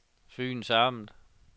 Fyns Amt